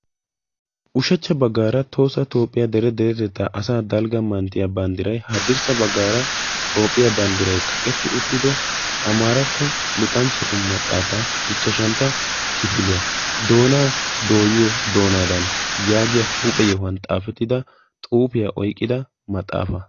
ushacha bagaara tohossa toophiya bandiray hadirsa bagaara toophiya bandiray kaqetti uttido amaaratto maxaafaa doonaa dooyiyo maxaafaa.